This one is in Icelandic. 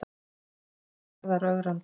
segir Garðar ögrandi.